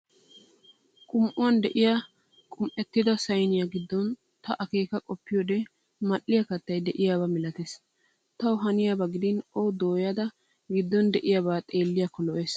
Qum'uuwan de'iyaa qum'ettida sayniyaa giddon ta akeeka qoppiyoode mal'iiyaa kattayi de'iyaaba malatees. Tawu haniyaaba gidin o dooyada giddon de'iyaabaa xeelliyakko le'ees.